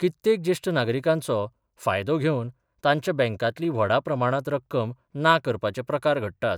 कित्तेक जेश्ठ नागरिकांचो फायदो घेवन तांच्या बँकातली व्हडा प्रमाणांत रक्कम ना करपाचे प्रकार घडटात.